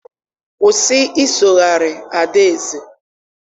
Kwụsị isogharị ada Eze!